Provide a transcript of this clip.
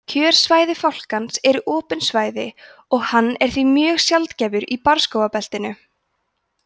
kjörsvæði fálkans eru opin svæði og hann er því mjög sjaldgæfur í barrskógabeltinu